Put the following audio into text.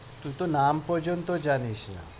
তুই তো নাম পর্যন্ত জানিস না।